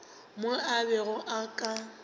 mo o bego o ka